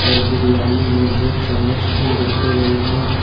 और बिरयानी में दो चम्मच भी रखे गए हैं।